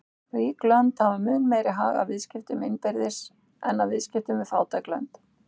Rík lönd hafa mun meiri hag af viðskiptum innbyrðis en af viðskiptum við fátæk lönd.